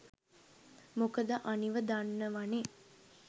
මොකද අනිව දන්නවනේ